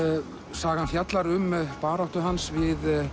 sagan fjallar um baráttu hans við